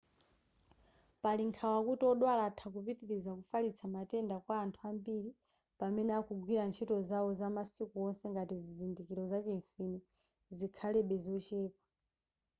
pali nkhawa kuti odwala atha kupitiliza kufalitsa matenda kwa anthu ambiri pamene akugwira ntchito zawo zamasiku onse ngati zizindikiro zachimfine zikhalebe zochepa